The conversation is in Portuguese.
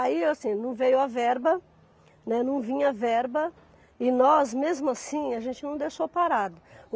Aí assim, não veio a verba, né, não vinha a verba, e nós, mesmo assim, a gente não deixou parado.